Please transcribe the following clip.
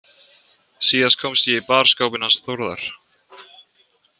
Síðast komst ég í barskápinn hans Þórðar.